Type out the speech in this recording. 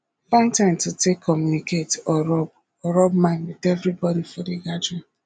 find time to take communicate or rub or rub mind with everybody for di gathering